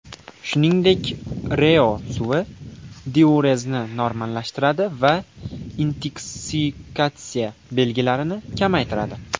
Shuningdek, ReO suvi diurezni normallashtiradi va intoksikatsiya belgilarini kamaytiradi.